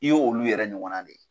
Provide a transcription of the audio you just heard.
I ye olu yɛrɛ ɲɔgɔnna de ye.